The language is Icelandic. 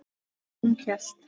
Hún hélt.